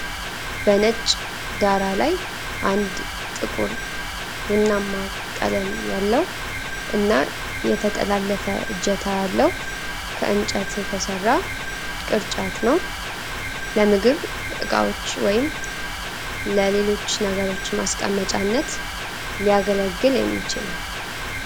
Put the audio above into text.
በነጭ ዳራ ላይ፣ አንድ ጥቁር ቡናማ ቀለም ያለው እና የተጠላለፈ እጀታ ያለው፣ ከእንጨት የተሰራ ቅርጫት ነው፣ ለምግብ ዕቃዎች ወይም ለሌሎች ነገሮች ማስቀመጫነት ሊያገለግል የሚችል ነዉ ።